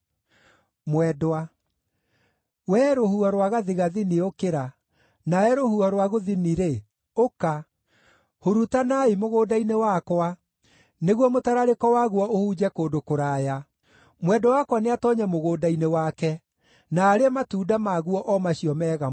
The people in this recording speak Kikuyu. Wee rũhuho rwa gathigathini ũkĩra, nawe rũhuho rwa gũthini-rĩ, ũka! Hurutanaai mũgũnda-inĩ wakwa, nĩguo mũtararĩko waguo ũhunje kũndũ kũraya. Mwendwa wakwa nĩatoonye mũgũnda-inĩ wake, na arĩe matunda maguo o macio mega mũno.